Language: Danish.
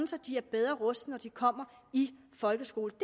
så de er bedre rustet når de kommer i folkeskolen